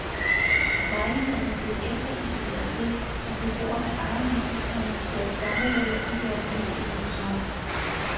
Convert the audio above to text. Lejligheden var blevet efterisoleret ved at beboerne egenhændigt havde monteret termoruder i de originale vinduesrammer.